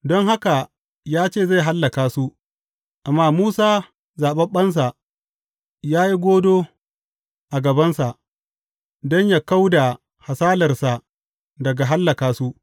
Don haka ya ce zai hallaka su, amma Musa, zaɓaɓɓensa, ya yi godo a gabansa don yă kau da hasalarsa daga hallaka su.